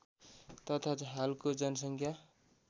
तथा हालको जनसङ्ख्या